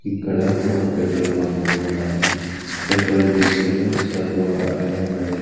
ఇక్కడ ఒక petrol bunk ఉన్నది పెట్రోల్ డీజిలు సర్వ అనే ఉన్నది.